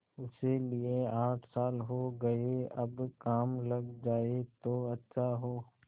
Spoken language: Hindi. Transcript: उसे लिये आठ साल हो गये अब काम लग जाए तो अच्छा हो